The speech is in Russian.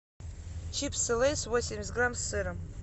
чипсы лейс восемьдесят грамм с сыром